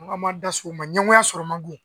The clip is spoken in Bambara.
N'an ko an b'an da se o ma ɲɛngoya sɔrɔ man go.